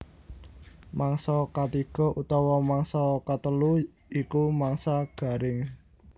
Mangsa katiga utawa mangsa katelu iku mangsa garing